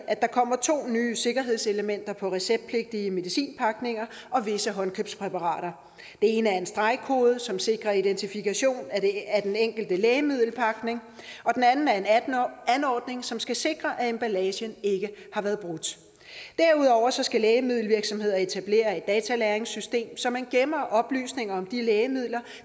at der kommer to nye sikkerhedselementer på receptpligtige medicinpakninger og visse håndkøbspræparater det ene er en stregkode som sikrer identifikation af den enkelte lægemiddelpakning og den anden er en anordning som skal sikre at emballagen ikke har været brudt derudover skal lægemiddelvirksomheder etablere et datalagringssystem så man gemmer oplysninger om de lægemidler